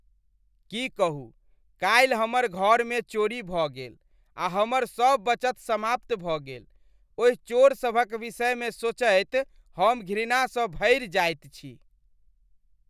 की कहू, काल्हि हमर घरमे चोरी भऽ गेल आ हमर सभ बचत समाप्त भऽ गेल, ओहि चोरसभक विषयमे सोचैत हम घृणासँ भरि जायत छी।